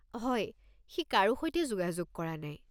হয়, সি কাৰো সৈতে যোগাযোগ কৰা নাই।